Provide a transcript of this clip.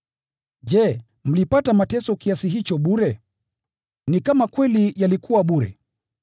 Je, mlipata mateso kiasi hicho bure? Ni kama kweli yalikuwa bure!